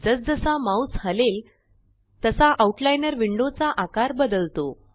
जस जसा माउस हलेल तसा आउटलाइनर विंडो चा आकार बदलतो